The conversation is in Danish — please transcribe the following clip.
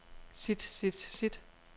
sit sit sit